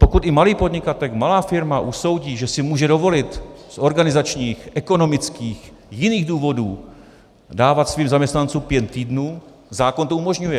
Pokud i malý podnikatel, malá firma usoudí, že si může dovolit z organizačních, ekonomických, jiných důvodů dávat svým zaměstnancům pět týdnů, zákon to umožňuje.